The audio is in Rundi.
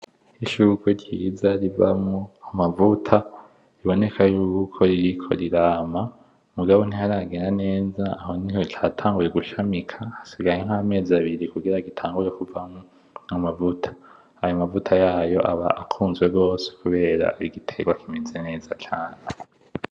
Ishurwe ryiza rivamwo amavuta biboneka yuko ririko rirama. Mugabo ntiharagera neza, ryatanguye gushamika, aho hasigaye nk'amezi abiri kugira gitangure kuvamwo amavuta. Ayo mavuta yayo aba akunzwe gose kubera igiterwa kimeze neza cane.